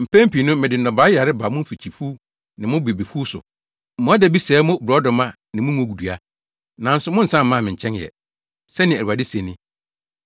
“Mpɛn pii no mede nnɔbae yare ba mo mfikyifuw ne mo bobefuw so. Mmoadabi sɛee mo borɔdɔma ne mo ngonnua, nanso monnsan mmaa me nkyɛn ɛ,” sɛnea Awurade se ni.